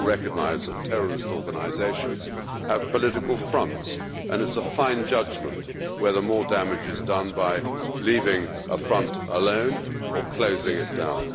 We all recognise that terrorist organisations have political fronts and it is a fine judgment whether more damage is done by leaving a front alone or closing it down.